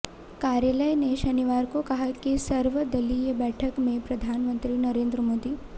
कार्यालय ने शनिवार को कहा कि सर्वदलीय बैठक में प्रधानमंत्री नरेंद्र मोदी